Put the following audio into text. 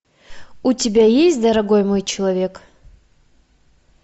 у тебя есть дорогой мой человек